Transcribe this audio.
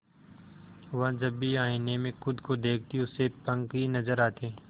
वह जब भी आईने में खुद को देखती उसे पंख ही नजर आते